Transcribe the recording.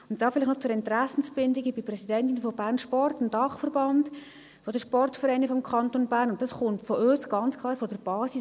Dazu vielleicht noch zur Interessensbindung: Ich bin Präsidentin von Bernsport, dem Dachverband der Sportvereine des Kantons Bern, und das kommt von uns, ganz klar von der Basis.